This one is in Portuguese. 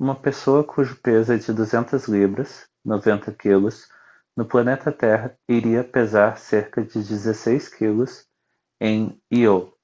uma pessoa cujo peso é de 200 libras 90 kg no planeta terra iria pesar cerca de 16 kg em io.